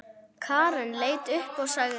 Karen leit upp og sagði